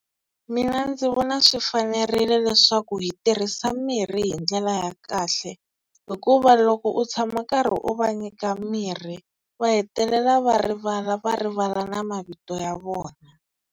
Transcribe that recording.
Mina ndzi vona swi fanerile leswaku hi tirhisa mirhi hi ndlela ya kahle. Hikuva loko u tshama u karhi u va nyika mirhi va hetelela va rivala va rivala na mavito ya vona.